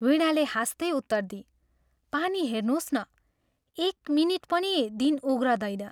वीणाले हाँस्तै उत्तर दिई "पानी हेर्नोस् न, एक मिनिट पनि दिन उघ्रदैन।